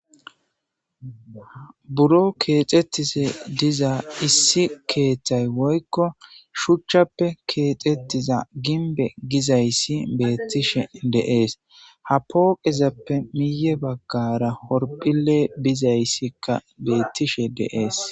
Buro keexettise diza issi keeththay woykko shuchchappe keexettiza ginbe gizayssi beettishe deees ha pooqezappe miye baggara horphile bizayssikka beettishe deees